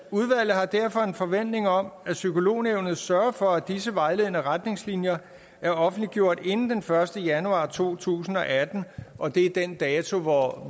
har derfor en forventning om at psykolognævnet sørger for at disse vejledende retningslinjer er offentliggjort inden den første januar to tusind og atten og det er den dato hvor